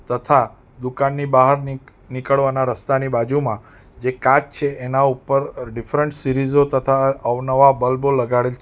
તથા દુકાનની બહારની નીક નીકળવાના રસ્તાની બાજુમાં જે કાચ છે એના ઉપર ડિફરન્ટ સીરીઝો તથા અવનવા બલ્બો લગાડેલ છે.